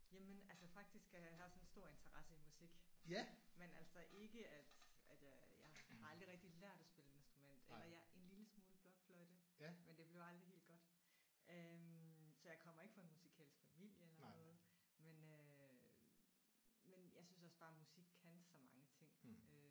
Jamen altså faktisk jeg har også en stor interesse i musik men altså ikke at at jeg har aldrig rigtig lært at spille et instrument eller jeg en lille smule blokfløjte men det blev aldrig helt godt øh så jeg kommer ikke fra en musikalsk familie eller noget men øh men jeg synes også bare musik kan så mange ting øh